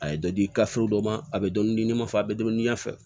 A ye dɔ di dɔ ma a bɛ dɔn diɲɛn fɛ a bɛ dɔnniya fɛ